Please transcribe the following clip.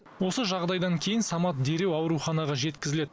осы жағдайдан кейін самат дереу ауруханаға жеткізіледі